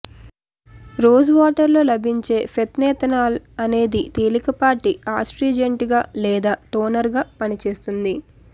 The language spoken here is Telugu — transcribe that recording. రోజ్ వాటర్ లో లభించే ఫెనైలెతనాల్ అనేది తేలికపాటి అస్ట్రింజెంట్ గా లేదా టోనర్ గా పనిచేస్తుంది